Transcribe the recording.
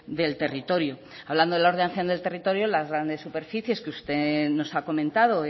del territorio hablando de la ordenación del territorio las grandes superficies que usted nos ha comentado